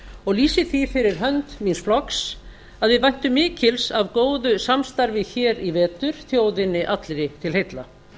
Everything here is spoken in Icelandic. og lýsi því fyrir hönd míns flokks að við væntum mikils af góðu samstarfi í vetur þjóðinni allri til heilla